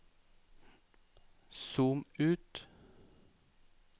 zoom ut